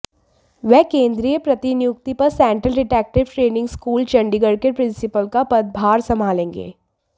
वह केंद्रीय प्रतिनियुक्ति पर central detective training school Chandigarh के प्रिंसीपल का पदभार संभालेंगे